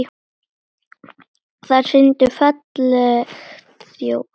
Þær sýndu fallega þjóð.